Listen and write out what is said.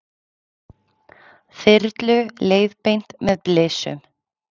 Þyrlu leiðbeint með blysum